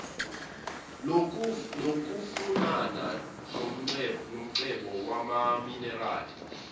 lokufunana nomcebo wamaminerali